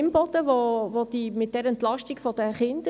Es geht dabei um die Entlastung der Kinder.